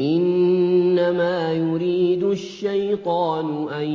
إِنَّمَا يُرِيدُ الشَّيْطَانُ أَن